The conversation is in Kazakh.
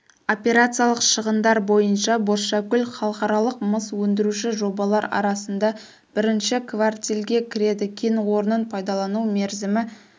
операциялық шығындар бойынша бозшакөл халықаралық мыс өндіруші жобалар арасында бірінші квартильге кіреді кен орнын пайдалану мерзімі